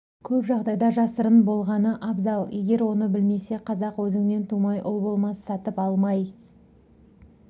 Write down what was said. көп жағдайда жасырын болғаны абзал егер оны білмесе қазақ өзіңнен тумай ұл болмас сатып алмай